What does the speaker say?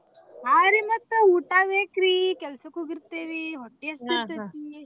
ಹಾಂ ರೀ ಮತ್ತ ಊಟಾ ಬೇಕ್ರೀ ಕೆಲಸಕ್ಕ ಹೋಗಿರ್ತೇವಿ ಹೊಟ್ಟಿ ಹಸದಿರತೇತಿ.